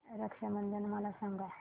रक्षा बंधन मला सांगा